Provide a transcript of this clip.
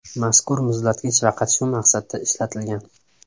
Mazkur muzlatgich faqat shu maqsadda ishlatilgan.